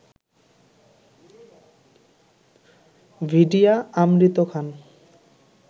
Vidya Amrit Khan